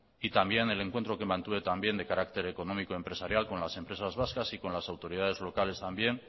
y también el encuentro que mantuve de carácter económico empresarial con las empresas vascas y con las autoridades locales también